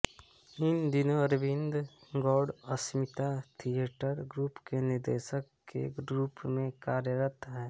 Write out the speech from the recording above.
इन दिनो Arvind Gaur Asmita theatre group के निदेशक के रूप मे कार्यरत है